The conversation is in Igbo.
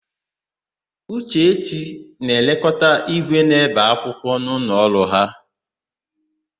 Uchechi na-elekọta ígwè na-ébè akwụkwọ n'ụlọọrụ ha.